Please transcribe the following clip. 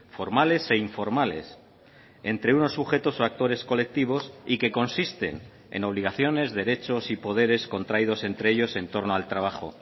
formales e informales entre unos sujetos o actores colectivos y que consisten en obligaciones derechos y poderes contraídos entre ellos entorno al trabajo